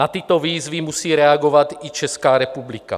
Na tyto výzvy musí reagovat i Česká republika.